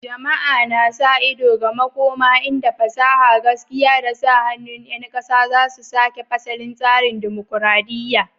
Jama'a na sa ido ga makoma inda fasaha, gaskiya, da sa hannun 'yan ƙasa za su sake fasalin tsarin dimokuradiyya.